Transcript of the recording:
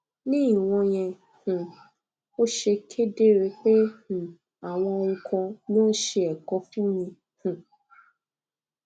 ní ìwò yẹn um ó ṣe kedere pé um àwọn ohun kan ló ń ṣe ẹkọ fún mi um